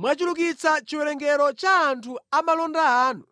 Mwachulukitsa chiwerengero cha anthu a malonda anu